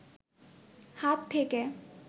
হাত থেকে